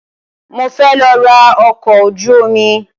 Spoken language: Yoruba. Mo fẹ́ lọ ra ọkọ̀ ojú omi.